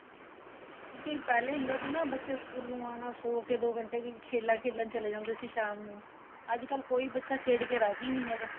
ਕਿਉਂਕਿ ਪਹਿਲੇ ਹੁੰਦਾ ਸੀ ਨਾ ਬੱਚੇ ਸਕੂਲੋ ਆਨਾ ਸੋ ਕੇ ਵੀ ਦੋ ਘੰਟੇ ਖੇਲਾ ਖੇਲਣ ਚਲੇ ਜਾਂਦੇ ਸੀ ਸਾਮ ਨੂੰ ਅੱਜ ਕੱਲ ਕੋਈ ਬੱਚਾ ਖੇਡ ਕੇ ਰਾਜ਼ੀ ਨਹੀਂ ਹੈਗਾ